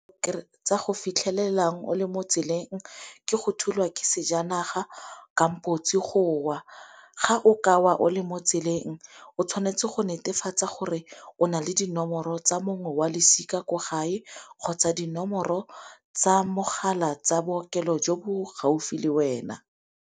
Tsa go fitlhelelang o le mo tseleng ke go thulwa ke sejanaga go wa. Ga o ka wa o le mo tseleng o tshwanetse go netefatsa gore o na le dinomoro tsa mongwe wa losika kwa gae, kgotsa dinomoro tsa mogala tsa bookelo jo bo gaufi le wena.